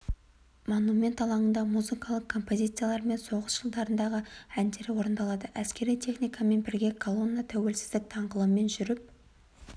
монумент алаңында музыкалық композициялар мен соғыс жылдарындағы әндер орындалады әскери техникамен бірге колонна тәуелсіздік даңғылымен жүріп